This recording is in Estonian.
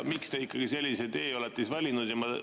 Miks te sellise tee olete valinud?